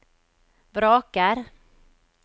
vraker